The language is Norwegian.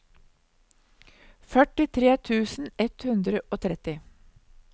førtitre tusen ett hundre og tretti